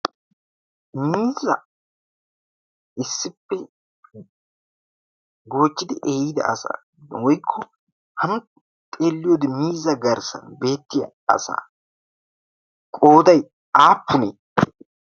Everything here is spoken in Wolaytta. Miizzaa issippe goochchidi ehiida asan woykko hani xeelliyoodi miizzaa garssan beettiya asa qooday aappunee?